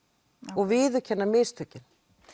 og viðurkenna mistökin